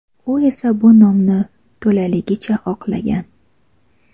U esa bu nomni to‘laligicha oqlagan.